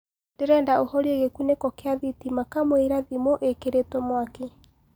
ndĩrendaũhorĩe gikuniko gia thitima kamũĩra thĩmũĩkĩrĩtwo mwakĩ